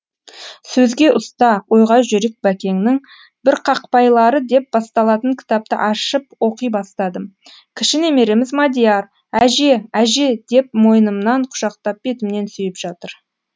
сөзге ұста ойға жүйрік бәкеңнің бірқақпайлары деп басталатын кітапты ашып оқи бастадым кіші немереміз мадияр әже әже деп мойнымнан құшақтап бетімнен сүйіп жатыр